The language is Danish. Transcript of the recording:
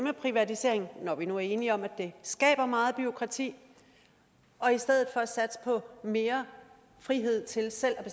at privatisere når vi nu er enige om at det skaber meget bureaukrati og i stedet for satse på mere frihed til selv at